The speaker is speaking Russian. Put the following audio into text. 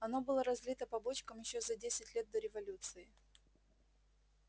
оно было разлито по бочкам ещё за десять лет до революции